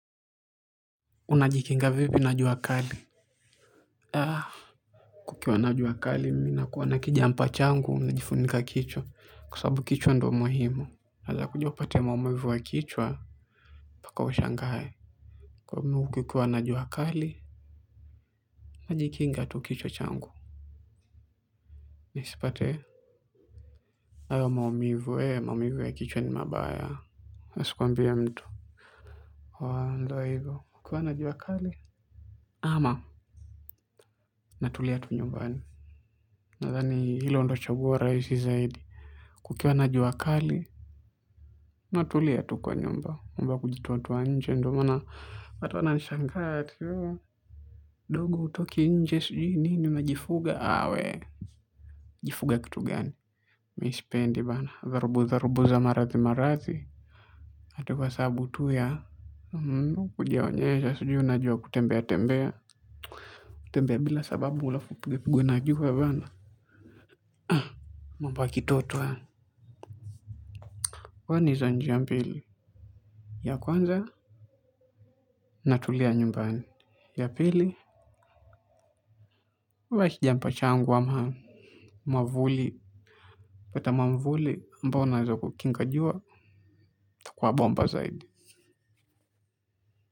Unajikinga vipi na juwakali. Kukiwa na jua kali mimi nakuwa na kijampa changu najifunika kichwa kwa sababu kichwa ndo muhimu unaweza kuja upate maumivu wa kichwa mpaka ushangae. Kwa hivyo kukiwa na jua kali. Najikinga tu kichwa changu. Nisipate hayo maumivu hayo maumivu ya kichwa ni mabaya. Asikuambie mtu wa ndoa hilo kukiwa na jua kali. Ama natulia tu nyumbani. Nadhani hilo ndo chaguo rahisi zaidi. Kukiwa na jua kali. Natulia tu kwa nyumba. Mambo ya kujitoatoa nje ndo maana hata nashangaa ati ooh Dogu hutoki nje sijui nini unajifuga aah we. Jifuga kitu gani. Mimi sipendi bana dharubu dharubu za maradhi maradhi. Ati kwa sababu tu ya kujionyesha sijui unajua kutembea tembea. Kutembea bila sababu alafu upigwe pigwe na juu bana. Mambo ya kitoto haya huwa ni za njia mbili. Ya kwanza natulia nyumbani ya pili huvaa kijampa changu ama mwavuli unapata mwavuli ambao unaweza kukinga jua itakuwa bomba zaidi.